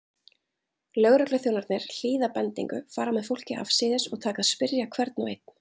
Lögregluþjónarnir hlýða bendingu, fara með fólkið afsíðis og taka að spyrja hvern og einn.